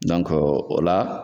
o la.